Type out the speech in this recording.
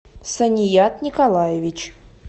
саният николаевич